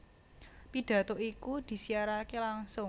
Pidhato iku disiyaraké langsung